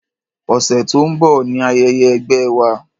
Ọ̀sẹ̀ tó ń bọ̀ ni ayẹyẹ ẹgbẹ́ wa.